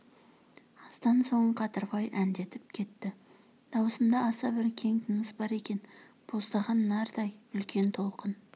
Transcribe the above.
аздан соң қадырбай әндетіп кетті дауысында аса бір кең тыныс бар екен боздаған нардай үлкен толқын